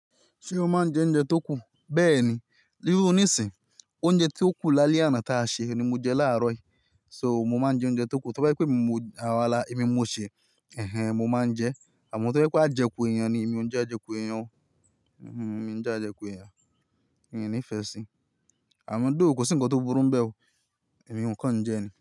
Ṣé o máa ń jẹ oúnjẹ tó kù? Bẹ́ẹ̀ni, nírú nísìín, oúnjẹ tó kù lálẹ́ àná táa ṣe ni mo jẹ láàárọ̀ yìí. So, mo máa ń jẹ oúnjẹ tó kù, tó bá jẹ́ pé èmi mo, àwa la, èmi mo ṣèé, mo máa ń jẹ ẹ. Àmọ́ tó bá jẹ pé àjẹkù èèyàn ni, èmi ò ń jẹ àjẹkù èèyàn o. Miì ń jàjẹkù èèyàn. Miì nífẹ̀ẹ́ si Àmọ́ though, kò sí nǹkan tó burú ńbẹ̀ o, èmi ò kàn ń jẹẹ́ ni.